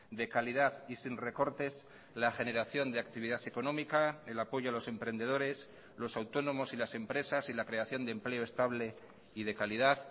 de calidad y sin recortes la generación de actividad económica el apoyo a los emprendedores los autónomos y las empresas y la creación de empleo estable y de calidad